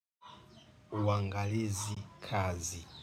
Uangalizi kazi.